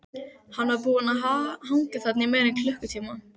Sundið með því að lóna á stoppistöðvum við Langholtsveg.